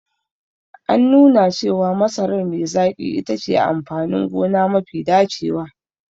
An nuna cewa masarar me zaƙi itace amfanin gona mafi dacewa.